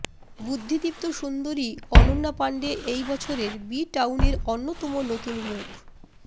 বুদ্ধিদীপ্ত সুন্দরী অনন্যা পাণ্ডে এই বছরের বি টাউনের অন্যতম নতুন মুখ